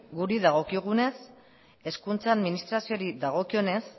guri dagokigunez hezkuntza administrazioari dagokionez